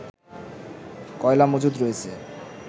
কয়লা মজুদ রয়েছে